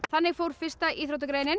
þannig fór fyrsta íþróttagreinin